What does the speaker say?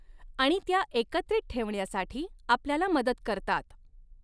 आणि त्या एकत्रित ठेवण्यासाठी आपल्याला मदत करतात.